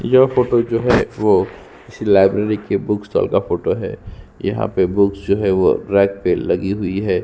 यह फोटो जो है वो किसी लाइब्रेरी के बुक स्टॉल का फोटो है यहाँ पे बुक्स जो है वो रैक पर लगी हुई है।